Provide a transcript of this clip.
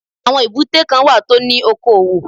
Àwọn èbúté kan wà tó ní oko òwò